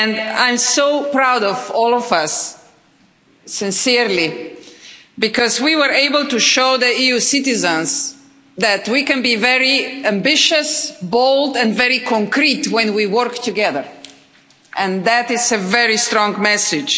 I'm so proud of all of us, sincerely, because we were able to show EU citizens that we can be very ambitious, bold and very concrete when we work together, and that is a very strong message.